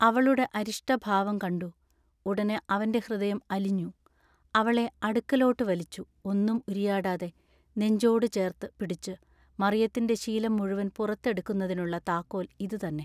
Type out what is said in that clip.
അവളുടെ അരിഷ്ട ഭാവം കണ്ടു ഉടനെ അവന്റെ ഹൃദയം അലിഞ്ഞു അവളേ അടുക്കലോട്ടു വലിച്ചു ഒന്നും ഉരിയാടാതെ നെഞ്ചോടു ചേർത്തു പിടിച്ചു മറിയത്തിന്റെ ശീലം മുഴുവൻ പുറത്തു എടുക്കുന്നതിനുള്ള താക്കോൽ ഇതു തന്നെ.